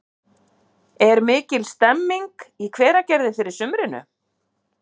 Er mikil stemming í Hveragerði fyrir sumrinu?